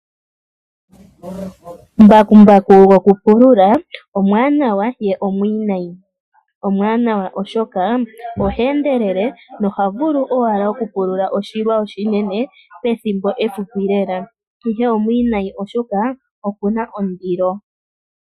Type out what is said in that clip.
Mbakumbaku wokupulula omwaanawa ye omwiinayi. Omwaanawa oshoka oha endelele, noha vulu owala okupulula oshilwa oshinene ethimbo efupi lela. Ihe omwiinayi oshoka oku na ondilo.